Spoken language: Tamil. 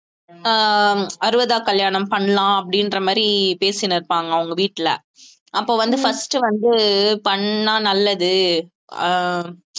அஹ் அறுபதாம் கல்யாணம் பண்ணலாம் அப்படின்ற மாதிரி பேசின்னு இருப்பாங்க அவங்க வீட்டுல அப்ப வந்து first வந்து பண்ணா நல்லது அஹ்